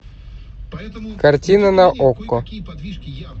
картина на окко